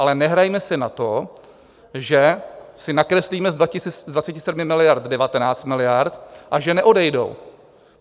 Ale nehrajme si na to, že si nakreslíme z 27 miliard 19 miliard a že neodejdou.